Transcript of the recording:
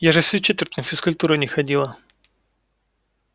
я же всю четверть на физкультуру не ходила